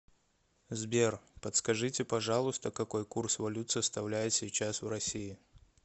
сбер подскажите пожалуйста какой курс валют составляет сейчас в россии